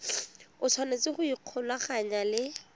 o tshwanetse go ikgolaganya le